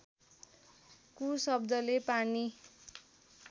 कु शब्दले पानी